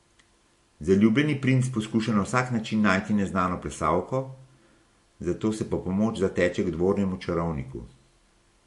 Zaljubljeni princ poskuša na vsak način najti neznano plesalko, zato se po pomoč zateče k dvornemu čarovniku.